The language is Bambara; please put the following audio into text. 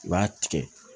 I b'a tigɛ